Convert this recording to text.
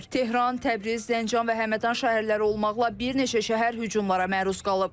Tehran, Təbriz, Zəncan və Həmədan şəhərləri olmaqla bir neçə şəhər hücumlara məruz qalıb.